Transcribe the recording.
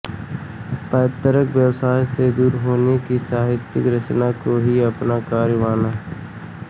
पैतृक व्यवसाय से दूर उन्होंने साहित्य रचना को ही अपना कर्म माना